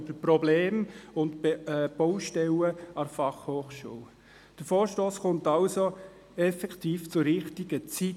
Dieser Vorstoss kommt somit effektiv zur richtigen Zeit.